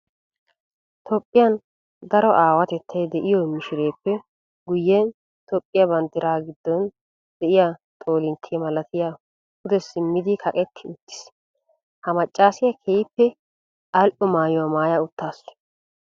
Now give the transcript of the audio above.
Toophphiyan daro aawatettay de'iyo mishireppe guyen toophphiya banddiran gidon de'iya xoolintte malattay pudde simmidi kaqqetti uttiis. Ha macasiya keehippe ali'o maayuwa maaya utaas.